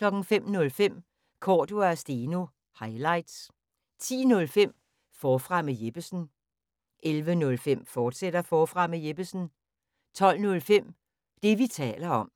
05:05: Cordua & Steno – highlights 10:05: Forfra med Jeppesen 11:05: Forfra med Jeppesen, fortsat 12:05: Det, vi taler om